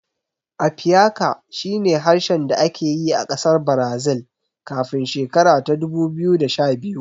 Apiaká shi ne harshen da ake yi a ƙasar Brazil kafin shekara ta dubu biyu da sha biyu